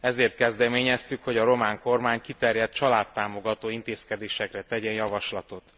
Ezért kezdeményeztük, hogy a román kormány kiterjedt családtámogató intézkedésekre tegyen javaslatot.